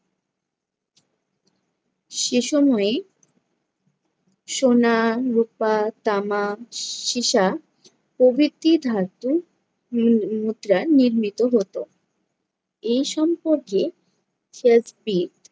সে সময়ে সোনা, রুপা, তামা, সী~ সীসা প্রভৃতি ধাতু উহ নি~ মুদ্রা নির্মিত হতো। এই সম্পর্কে